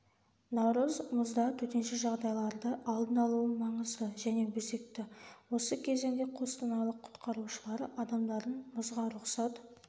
наурыз мұзда төтенше жағдайларды алдын алуы маңызды және өзекті осы кезеңде қостанайлық құтқарушылары адамдардың мұзға рұқсат